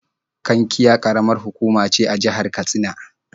Kankia ƙaramar hukuma ce a jihar Katsina.